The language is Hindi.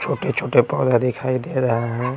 छोटे-छोटे पौधा दिखाई दे रहे हैं।